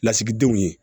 Lasigidenw ye